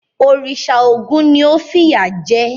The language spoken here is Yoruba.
Òrìṣà Ògún ni ó fìyà jẹ ẹ́?